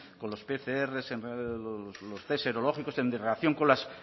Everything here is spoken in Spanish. con los pcr los test serológicos en relación las